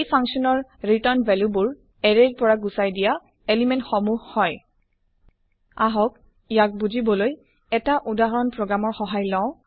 এই ফাংচন ৰ return value বোৰ এৰে ৰ পৰা গুচাই দিয়া এলিমেন্ট সমুহ আহক ইয়াক বুজিবলৈ এটা উদাহৰণ প্ৰগ্ৰাম ৰ সহায় লওঁ